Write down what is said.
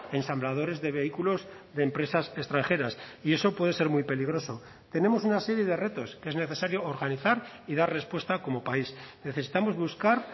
ensambladores de vehículos de empresas extranjeras y eso puede ser muy peligroso tenemos una serie de retos que es necesario organizar y dar respuesta como país necesitamos buscar